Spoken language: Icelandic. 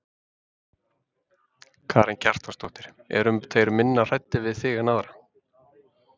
Karen Kjartansdóttir: Eru þeir minna hræddir við þig en aðra?